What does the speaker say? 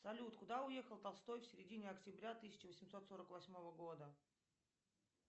салют куда уехал толстой в середине октября тысяча восемьсот сорок восьмого года